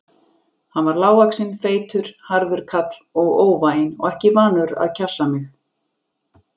Hann var lágvaxinn og feitur, harður kall og óvæginn og ekki vanur að kjassa mig.